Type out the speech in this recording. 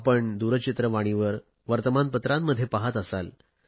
आपण दूरचित्रवाणीवर वर्तमान पत्रांमध्ये पाहात असाल